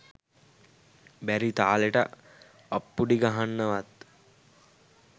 බැරි තාලෙට අප්පුඩි ගහන්නවත්